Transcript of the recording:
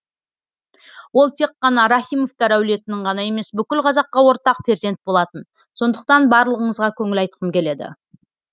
ол тек қана рахимовтар әулетінің ғана емес бүкіл қазаққа ортақ перзент болатын сондықтан барлығыңызға көңіл айтқым келеді